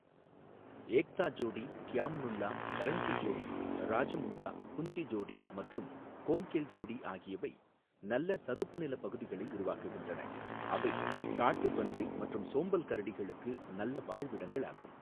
ஏக்தா ஜோடி, க்யாம் நுல்லா, கரஞ்சி ஜோடி, ராஜமுண்டா, புஞ்சி ஜோடி மற்றும் கோம்கெல் ஜோடி ஆகியவை நல்ல சதுப்பு நிலப் பகுதிகளை உருவாக்குகின்றன, அவை காட்டுப்பன்றி மற்றும் சோம்பல் கரடிகளுக்கு நல்ல வாழ்விடங்களாகும்.